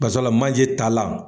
Basabula manje ta lan.